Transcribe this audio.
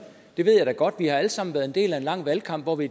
det ved jeg da godt vi har alle sammen været en del af en lang valgkamp hvor vi